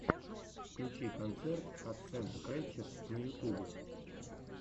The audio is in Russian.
включи концерт катсэндскрэтчес на ютубе